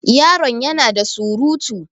Yaron ya na da surutu.